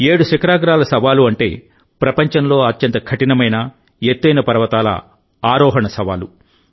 ఏడు శిఖరాగ్రాల సవాలు అంటే ప్రపంచంలో అత్యంత కఠినమైన ఎత్తైన పర్వతాల ఆరోహణ సవాలు